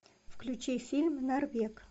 включи фильм норвег